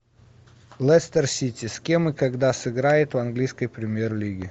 лестер сити с кем и когда сыграет в английской премьер лиге